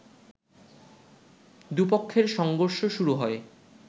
দুপক্ষের সংঘর্ষ শুরু হয়